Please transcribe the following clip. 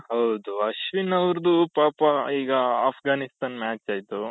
ಹೌದು ಅಶ್ವಿನ್ ಅವರದು ಪಾಪ ಈಗ ಅಫ್ಘಾನಿಸ್ತಾನ್ match ಆಯ್ತು